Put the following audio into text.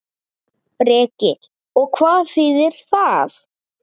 Breki: Og hvað þýðir það?